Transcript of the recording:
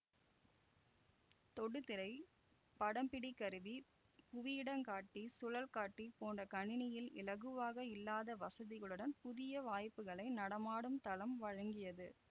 தொடுதிரை படம்பிடிகருவி புவியிடங்காட்டி சுழல் காட்டி போன்ற கணினியில் இலகுவாக இல்லாத வசதிகளுடன் புதிய வாய்ப்புக்களை நடமாடும் தளம் வழங்கியது